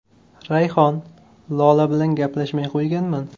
Rayhon: Lola bilan gaplashmay qo‘yganman.